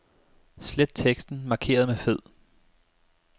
Slet teksten markeret med fed.